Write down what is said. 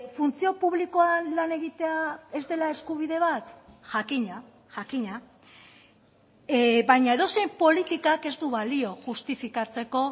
funtzio publikoan lan egitea ez dela eskubide bat jakina jakina baina edozein politikak ez du balio justifikatzeko